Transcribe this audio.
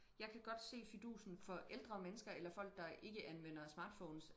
jeg kan godt se fidusen for ældre mennesker eller folk der ikke anvender smartphones